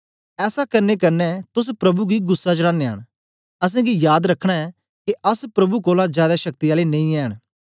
ऐसा करने कन्ने तोस प्रभु गी गुस्सा चड़ानयां न असेंगी याद रखना ऐ के अस प्रभु कोलां जादै शक्ति आले नेई ऐंन